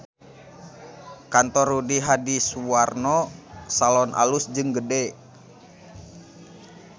Kantor Rudy Hadisuwarno Salon alus jeung gede